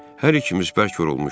Hər ikimiz bərk yorulmuşduq.